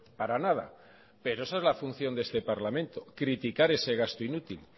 para nada pero esa es la función de este parlamento criticar ese gasto inútil